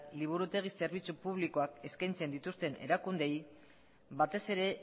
liburutegi zerbitzu publikoak eskaintzen dituzten erakundeei batez ere